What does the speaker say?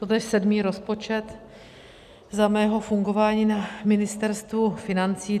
Toto je sedmý rozpočet za mého fungování na Ministerstvu financí.